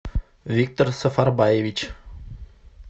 виктор сафарбаевич